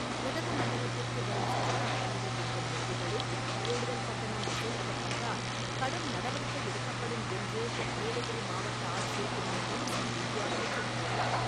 உதகமண்டலத்திற்கு வரும் சுற்றுலா பயணிகள் தங்கும் விடுதிகளில் கூடுதல் கட்டணம் வசூலிக்கப்பட்டால் கடும் நடவடிக்கை எடுக்கப்படும் என்று நீலகிரி மாவட்ட ஆட்சியர் திருமதி இன்னசென்ட் திவ்யா எச்சரித்துள்ளார்.